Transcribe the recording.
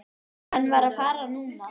Hann varð að fara núna.